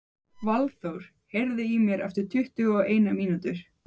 Valþór, heyrðu í mér eftir tuttugu og eina mínútur.